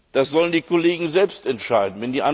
Das sollen die Kollegen selbst entscheiden.